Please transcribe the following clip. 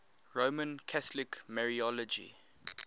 roman catholic mariology